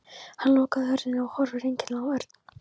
Hann lokaði hurðinni og horfði einkennilega á Örn.